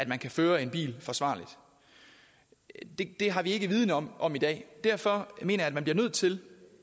man kan føre en bil forsvarligt det har vi ikke viden om om i dag derfor mener jeg at man bliver nødt til